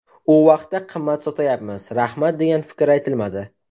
U vaqtda qimmat sotayapmiz, rahmat degan fikr aytilmadi.